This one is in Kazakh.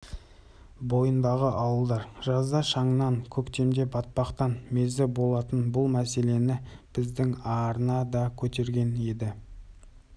бойындағы ауылдар жазда шаңнан көктемде батпақтан мезі болатын бұл мәселені біздің арна да көтерген енді